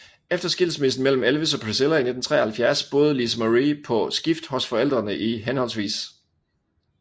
Efter skilsmissen mellem Elvis og Priscilla i 1973 boede Lisa Marie på skift hos forældrene i hhv